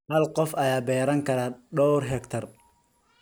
Hal qof ayaa beeran kara dhowr hektar.